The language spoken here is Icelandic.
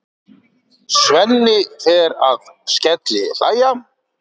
Svenni fer að skellihlæja.